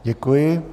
Děkuji.